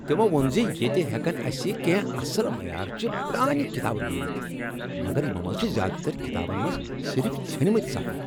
تمو ووٚن ز ییٚتہ ہؠکن اسہِ کینٛہہ اصل معیارچہِ پرٛانہِ کتابہٕ میٖلتھ مگر یمو منٛز چھ زیادٕ تر ڪتابن منٛز صرف ژھنمِتۍ صفہٕ۔